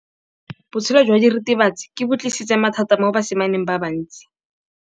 Botshelo jwa diritibatsi ke bo tlisitse mathata mo basimaneng ba bantsi.